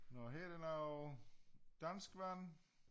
Nå her der noget danskvand